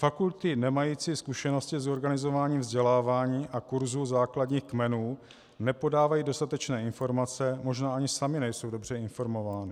Fakulty nemající zkušenosti s organizováním vzdělávání a kurzů základních kmenů nepodávají dostatečné informace, možná ani samy nejsou dobře informovány.